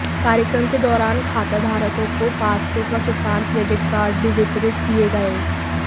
कार्यक्रम के दौरान खाताधारकों को पासबुक व किसान क्रेडिट कार्ड भी वितरित किए गए